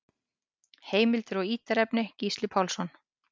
Heimildir og ítarefni: Gísli Pálsson.